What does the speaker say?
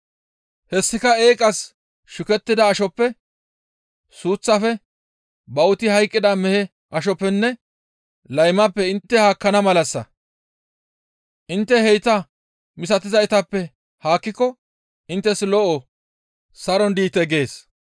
Hessika eeqas shukettida ashoppe, suuththafe, bawuti hayqqida mehe ashoppenne laymappe intte haakkana malassa; intte hayta misatizaytappe haakkiko inttes lo7o; saron diite» gees.